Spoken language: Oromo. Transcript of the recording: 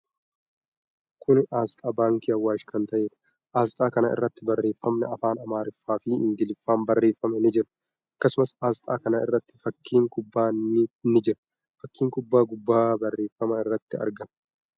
Kuni aasxaa baankii Awaash kan ta'eedha. Aasxaa kana irratti barreeffamni afaan Amaariffaa fi Ingiliffaan barreeffame ni jira. Akkasumas, aasxaa kana irratti fakkiin kubbaa ni jira. Fakkiin kubbaa gubbaa barreeffamaa irratti argama.